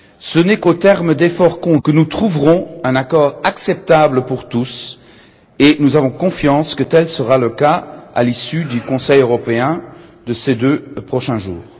Ce n'est qu'au terme d'efforts conjoints que nous trouverons un accord acceptable pour tous, et nous sommes convaincus que tel sera le cas à l'issue du Conseil européen de ces deux prochains jours.